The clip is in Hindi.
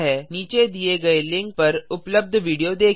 नीचे दिए गए लिंक पर उपलब्ध वीडियो देखें